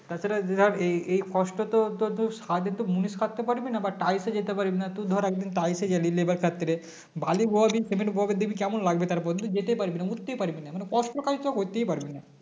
তাছাড়া যে ধরে এই এই কষ্ট তো তোর ধরে সারাদিন তো মুনিশ খাটতে পারবি না বা Type এ যেতে পারবি না তুই ধরে একদিন type এ গেলো labour খাটতে বালি বয়াবে cement বয়াবে দেখবি কেমন লাগবে তারপর তুই যেতেই পারবি না উঠতেই পারবিনা মানে কষ্ট কাজ তোরা করতেই পারবি না